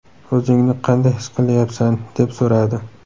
O‘zingni qanday his qilyapsan?”, deb so‘radi.